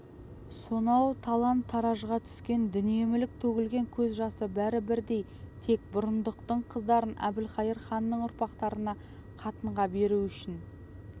сонау талан-таражға түскен дүние-мүлік төгілген көз жасы бәрі бірдей тек бұрындықтың қыздарын әбілқайыр ханның ұрпақтарына қатынға беру үшін